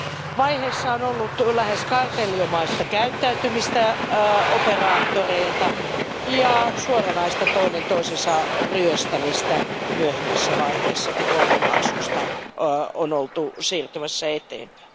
Alkuvaiheessa on ollut lähes kartellinomaista käyttäytymistä operaattoreilta ja suoranaista toinen toisensa ryöstämistä myöhemmässä vaiheessa, kun roaming maksuista on oltu siirtymässä eteenpäin.